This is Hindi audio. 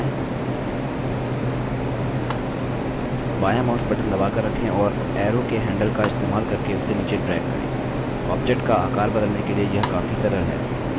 अब keyboard पर shift button दबाएँ बायाँ mouse button दबाकर रखें और एरो के handle का इस्तेमाल करके उसे नीचे drag करें